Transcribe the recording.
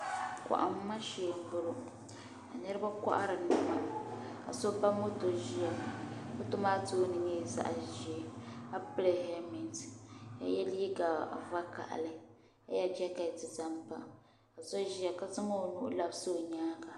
Kohamma shee m boŋɔ ka niriba kohari niɛma ka so ba moto ʒia moto maa tooni nyɛla zaɣa ʒee ka pili helimenti Ka ye liiga vakahali ka ye jaketi zaŋpa ka so ʒia ka zaŋ o nuhi labisi o nyaanga.